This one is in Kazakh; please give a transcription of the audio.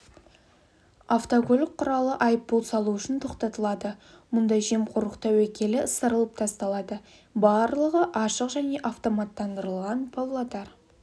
автокөлік құралы айыппұл салу үшін тоқтатылады мұнда жемқорлық тәуекелі ысырылып тасталады барлығы ашық және автоматтандырылған павлодар